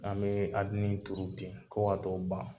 An be adine turu ten fɔ ka tɔ ban